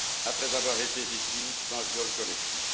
après avoir été victime d'un viol collectif.